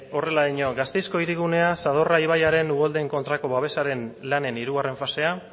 horrela dio gasteizko hirigunea zadorra ibaiaren uholdeen kontrako babesaren lanen hirugarren fasea